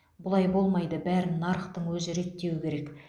бұлай болмайды бәрін нарықтың өзі реттеуі керек